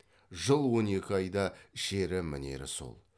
жыл он екі айда ішері мінері сол